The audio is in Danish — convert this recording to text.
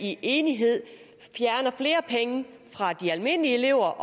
i enighed fjerner flere penge fra de almindelige elever